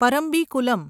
Parambikulam